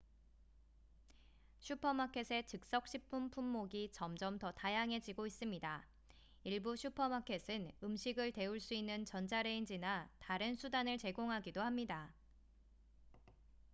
슈퍼마켓의 즉석식품 품목이 점점 더 다양해지고 있습니다 일부 슈퍼마켓은 음식을 데울 수 있는 전자레인지나 다른 수단을 제공하기도 합니다